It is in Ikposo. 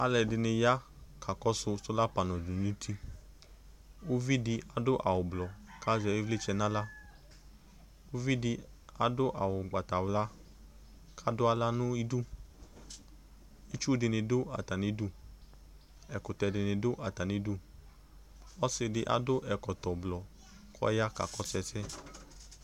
Alu ɛdini ya ku akakɔsu ɔlu di nu uti Uvidu adu awu ublɔ ku azɛ ivlitsɛ nu aɣla Uvidi adu awu ugbatawla ku adu aɣla nu idu Itsu dini du atani idu Ɛkutɛdini du atani idu Ɔsidi adu ɛkɔtɔ ublɔ ɔya kakɔsu ɛsɛ